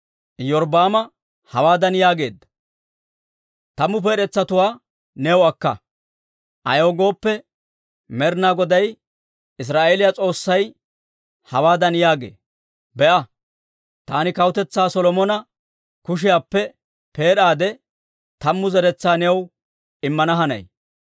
Iyorbbaama hawaadan yaageedda; «Tammu peed'etsatuwaa new akka. Ayaw gooppe, Med'inaa Goday Israa'eeliyaa S'oossay hawaadan yaagee; ‹Be'a, taani kawutetsaa Solomona kushiyaappe peed'aade, tammu zeretsaa new immana hanay.